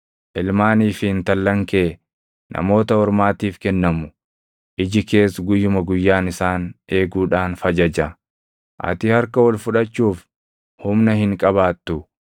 Ilmaanii fi intallan kee namoota ormaatiif kennamu; iji kees guyyuma guyyaan isaan eeguudhaan fajaja; ati harka ol fudhachuuf humna hin qabaattu.